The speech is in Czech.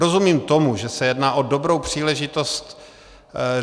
Rozumím tomu, že se jedná o dobrou příležitost.